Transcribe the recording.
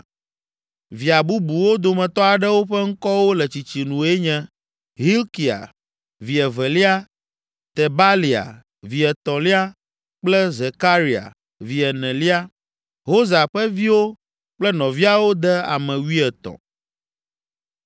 Via bubuwo dometɔ aɖewo ƒe ŋkɔwo le tsitsinue nye: Hilkia, vi evelia, Tebalia, vi etɔ̃lia kple Zekaria, vi enelia. Hosa ƒe viwo kple nɔviawo de ame wuietɔ̃.